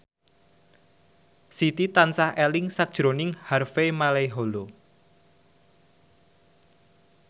Siti tansah eling sakjroning Harvey Malaiholo